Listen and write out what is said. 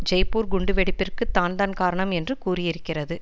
ஜெய்ப்பூர் குண்டு வெடிப்பிற்கு தான்தான் காரணம் என்று கூறியிருக்கிறது